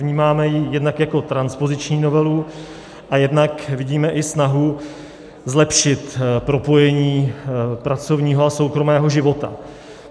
Vnímáme ji jednak jako transpoziční novelu a jednak vidíme i snahu zlepšit propojení pracovního a soukromého života.